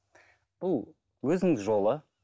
бұл өзінің жолы